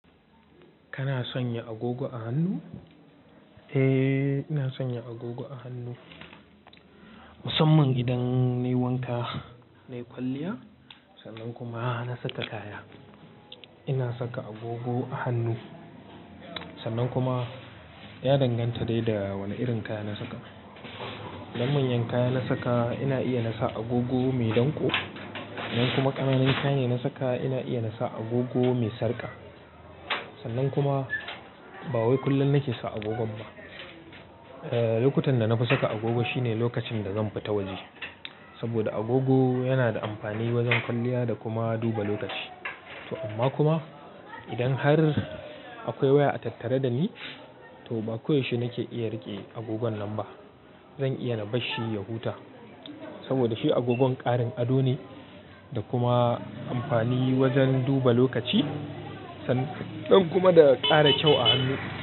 Kana sanya agogo a hannu? Eh, ina sanya agogo a hannu. Musamman idan nayi wanka nayi kwalliya sannan kuma na saka kaya. Ina saka agogo a hannu. Sannan kuma ya danganta dai da wani irin kaya na saka. Idan manyan kaya na saka ina iya na sa agogo mai danƙo. Idan kuma ƙananan kaya ne na saka ina iya na sa agogo mai sarka. Sannan kuma ba wai kullum nake sa agogon ba. Eh, lokutan da na fi saka agogo shine lokacin da zan fita waje. Saboda agogo yana da amfani wajen kwalliya da kuma duba lokaci. To amma kuma idan har akwai waya a tattare da ni, to ba koyaushe nake iya riƙe agogon nan ba. Zan iya na bar shi ya huta. Saboda shi agogon ƙarin ado ne da kuma amfani wajen duba lokaci sannan kuma da ƙara kyau a hannu.